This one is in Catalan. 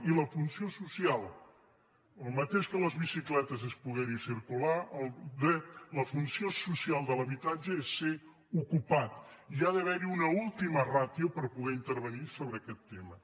i la funció social el mateix que de les bicicletes és poder·hi circular la funció social de l’habitatge és ser ocupat i hi ha d’haver una última rà·tio per poder intervenir sobre aquest tema